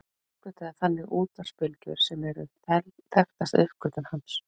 Hann uppgötvaði þannig útvarpsbylgjur sem eru þekktasta uppgötvun hans.